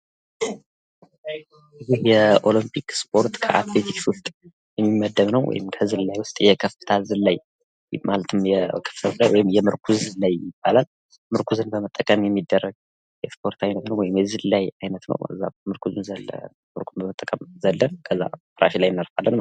ይህ የኦሎምፒክ ስፖርት ከአትሌቲክስ ዉስጥ የሚመደብ ነው። ወይም ዝላይ ዉስጥ የከፍታ ዝላይ ማለትም የምርኩዝ ዝላይ ይባላል። ምርኩዝን በመጠቀም የሚደረግ የስፖርት አይነት ነው።